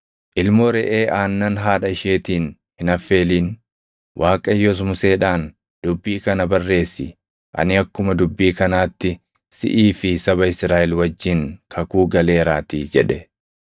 Waaqayyos Museedhaan, “Dubbii kana barreessi; ani akkuma dubbii kanaatti siʼii fi saba Israaʼel wajjin kakuu galeeraatii” jedhe.